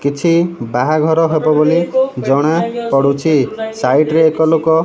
କିଛି ବାହାଘର ହବ ବୋଲି ଜଣା ପଡିଛି ସାଇଟ୍ ରେ ଏକ ଲୋକ --